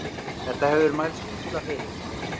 Þetta hefur mælst illa fyrir.